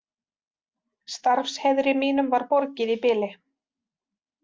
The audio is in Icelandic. Starfsheiðri mínum var borgið í bili.